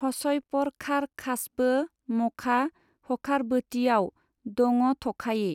हसयपरखारखासबो मखा हखारबोतिआव दङथखायि!